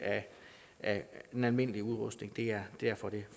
af den almindelige udrustning det er derfor det